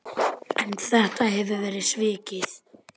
En þetta hefur verið svikið.